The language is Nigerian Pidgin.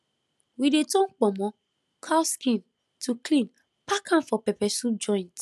we dey turn kpomo cow skin to clean pack am for pepper soup joint